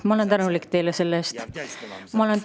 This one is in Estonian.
Ma olen teile selle eest tänulik.